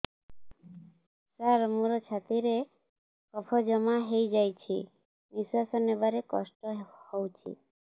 ସାର ମୋର ଛାତି ରେ କଫ ଜମା ହେଇଯାଇଛି ନିଶ୍ୱାସ ନେବାରେ କଷ୍ଟ ହଉଛି